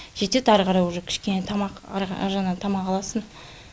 жетеді арықарай уже кішкене тамақ аржағынан тамақ аласың